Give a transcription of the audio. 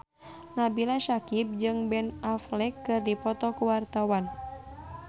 Nabila Syakieb jeung Ben Affleck keur dipoto ku wartawan